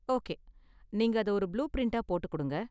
Okay, நீங்க அத ஒரு புளூ பிரிண்ட்டா போட்டு கொடுங்க.